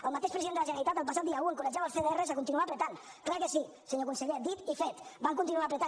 el mateix president de la generalitat el passat dia un encoratjava els cdr a continuar apretant clar que sí senyor conseller dit i fet van continuar apretant